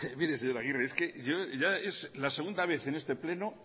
mire señor agirre es que yo ya es la segunda vez en este pleno